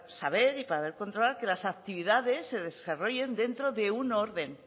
saber y para controlar que las actividades se desarrollen dentro de un orden